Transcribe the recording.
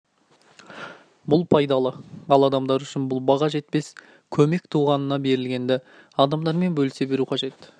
бұл пайдалы ал адамдар үшін бұл баға жетпес көмек туғанынан берілгенді адамдармен бөлісе білу қажет